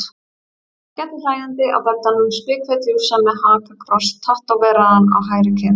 Hún lá skellihlæjandi á beddanum, spikfeit jússa með hakakross tattóveraðan á hægri kinn.